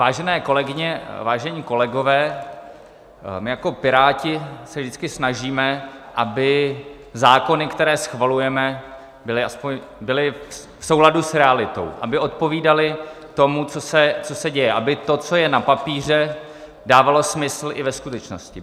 Vážené kolegyně, vážení kolegové, my jako Piráti se vždycky snažíme, aby zákony, které schvalujeme, byly v souladu s realitou, aby odpovídaly tomu, co se děje, aby to, co je na papíře, dávalo smysl i ve skutečnosti.